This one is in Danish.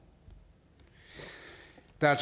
der er